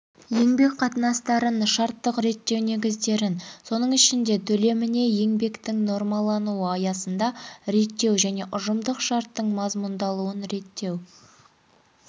еңбек қатынастарын шарттық реттеу негіздерін соның ішінде төлеміне еңбектің нормалануы аясында реттеу және ұжымдық шарттың мазмұндалуын реттеу